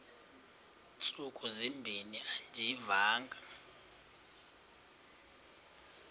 ntsuku zimbin andiyivanga